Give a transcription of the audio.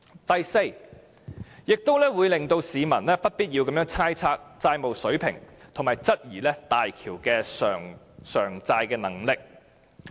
第四，這亦會令市民不必要地猜測債務水平和質疑大橋的償債能力。